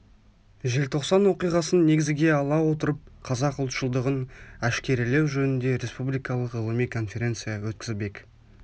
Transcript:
желтоқсан оқиғасын негізге ала отырып қазақ ұлтшылдығын әшкерелеу жөнінде республикалық ғылыми конференция өткізбек